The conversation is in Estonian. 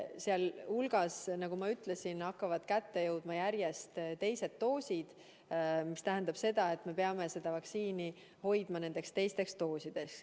Sealjuures, nagu ma ütlesin, hakkab kätte jõudma järjest teiste dooside aeg, mis tähendab seda, et me peame seda vaktsiini hoidma nendeks teisteks doosideks.